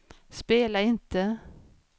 spela inte